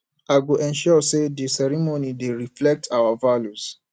i go ensure say di ceremony dey reflect our values